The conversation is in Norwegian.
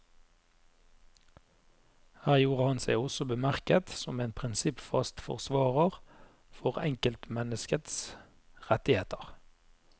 Her gjorde han seg også bemerket som en prinsippfast forsvarer for enkeltmenneskets rettigheter.